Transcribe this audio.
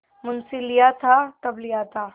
मुंशीलिया था तब लिया था